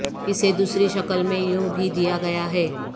اسے دوسری شکل میں یوں بھی دیا گیا ہے